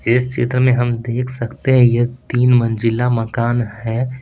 इस चित्र में हम देख सकते हैं कि यह एक तीन मंजिला मकान है।